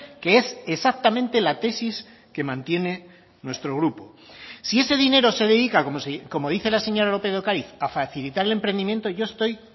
que es exactamente la tesis que mantiene nuestro grupo si ese dinero se dedica como dice la señora lópez de ocariz a facilitar el emprendimiento yo estoy